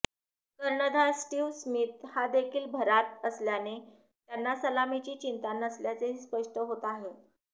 कर्णधार Steve Smith हादेखील भरात असल्याने त्यांना सलामीची चिंता नसल्याचेही स्पष्ट होत आहे